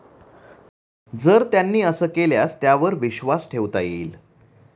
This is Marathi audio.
जर त्यांनी असं केल्यास त्यावर विश्वास ठेवता येईल.